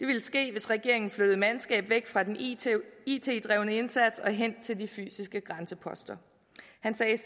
det ville ske hvis regeringen flyttede mandskab væk fra den it it drevne indsats hen til de fysiske grænseposter han sagde